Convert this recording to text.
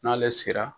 N'ale sera